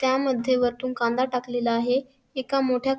त्या मध्ये वरतून कांदा टाकलेला आहे एका मोठ्या --